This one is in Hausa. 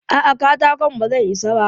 A'a, katakon ba zai isa ba.